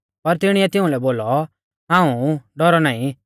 पर तिणीऐ तिउंलै बोलौ हाऊं ऊ डौरौ नाईं